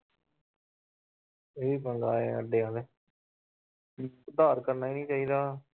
ਉਧਾਰ ਕਰਨਾ ਹੀ ਨੀ ਚਾਹੀਦਾ।